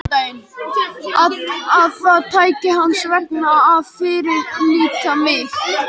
Að það taki hans vegna að fyrirlíta mig.